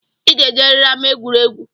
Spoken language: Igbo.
I ga-ejeriri ama egwuregwu!